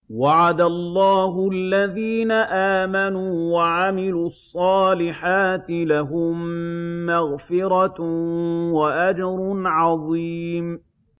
وَعَدَ اللَّهُ الَّذِينَ آمَنُوا وَعَمِلُوا الصَّالِحَاتِ ۙ لَهُم مَّغْفِرَةٌ وَأَجْرٌ عَظِيمٌ